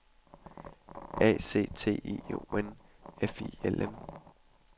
A C T I O N F I L M